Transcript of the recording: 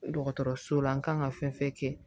Dɔgɔtɔrɔso la n kan ka fɛn fɛn kɛ